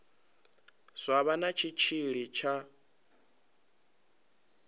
zwa vha na tshitshili tsha